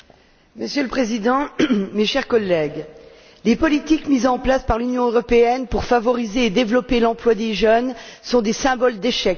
Monsieur le Président, chers collègues, les politiques mises en place par l'Union européenne pour favoriser et développer l'emploi des jeunes sont des symboles d'échec.